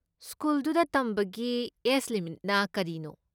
ꯁ꯭ꯀꯨꯜꯗꯨꯗ ꯇꯝꯕꯒꯤ ꯑꯦꯖ ꯂꯤꯃꯤꯠꯅ ꯀꯔꯤꯅꯣ?